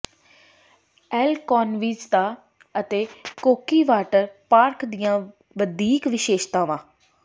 L ਕੋਨਵਿਜਤਾ ਅਤੇ ਕੋਕੀ ਵਾਟਰ ਪਾਰਕ ਦੀਆਂ ਵਧੀਕ ਵਿਸ਼ੇਸ਼ਤਾਵਾਂ